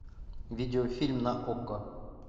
видеофильм на окко